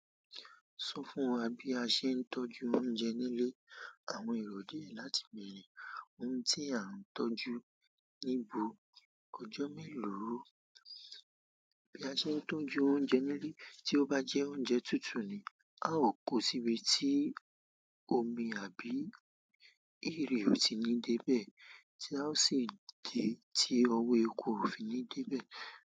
Sọ fún wa bí a ṣe ń tọ́jú oúnjẹ nílé. Àwọn èrò díẹ̀ láti bẹ̀rẹ̀, ohun tí a ń tọ́jú, níbo, ọjọ́ mélòó ó. Bí a ṣe ń tọ́jú oúnjẹ nílé, tí ó bá jẹ́ oúnjẹ tútù ni, a ó kó síbi tí omi àbí ìrì ò tí ì ní dé bẹ̀ tí a ó sì dé tí ọwọ́ eku ò fi ní dé bẹ̀.